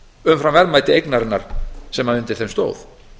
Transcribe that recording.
umfram verðmæti eignarinnar sem undir þeim stóð